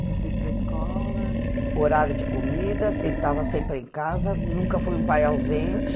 E vocês para a escola... Horário de comida, ele estava sempre em casa, nunca foi um pai ausente.